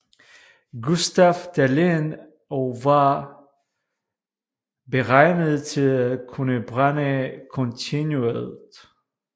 Gustaf Dalén og var beregnet til at kunne brænde kontinuert